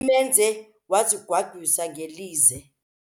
Ithemba lakhe lokuba sisityebi limenze wazigwagwisa ngelize.